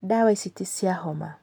Ndawa ici ti cia homa